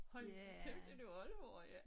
Hold nu kæft er det oldemor ja